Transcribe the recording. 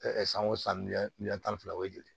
san o san miliyɔn tan ni fila o ye joli ye